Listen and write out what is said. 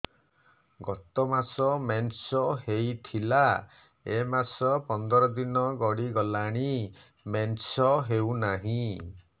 ଗତ ମାସ ମେନ୍ସ ହେଇଥିଲା ଏ ମାସ ପନ୍ଦର ଦିନ ଗଡିଗଲାଣି ମେନ୍ସ ହେଉନାହିଁ